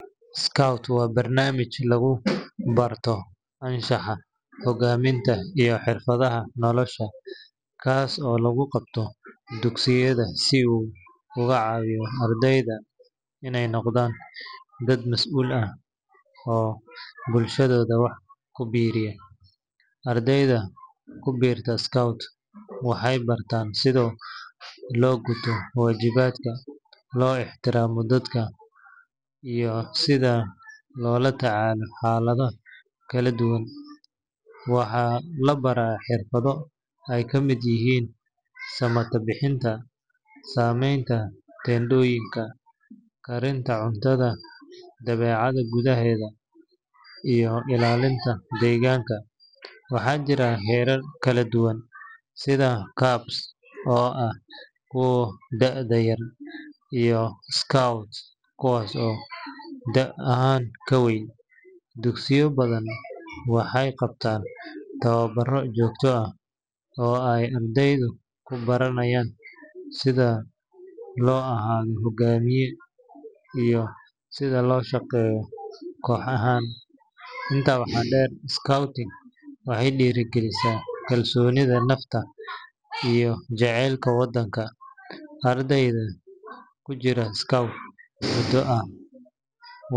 Scout waa barnaamij lagu barto anshaxa, hogaaminta, iyo xirfadaha nolosha, kaas oo lagu qabto dugsiyada si uu uga caawiyo ardayda inay noqdaan dad mas’uul ah oo bulshadooda wax ku biiriya. Ardayda ku biirta scout waxay bartaan sida loo guto waajibaadka, loo ixtiraamo dadka, iyo sida loola tacaalo xaalado kala duwan. Waxaa la baraa xirfado ay ka mid yihiin samatabbixinta, sameynta teendhooyinka, karinta cuntada dabeecadda gudaheeda, iyo ilaalinta deegaanka. Waxaa jira heerar kala duwan sida cubs oo ah kuwa da’da yar, iyo scouts kuwaas oo da’ ahaan ka weyn. Dugsiyo badan waxay qabtaan tababaro joogto ah oo ay ardaydu ku baranayaan sida loo ahaado hogaamiye iyo sida loo shaqeeyo koox ahaan. Intaa waxaa dheer, scouting waxay dhiirrigelisaa kalsoonida nafta iyo jaceylka waddanka. Arday ku jira scout muddo ah.